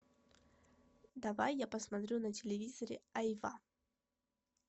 давай я посмотрю на телевизоре айва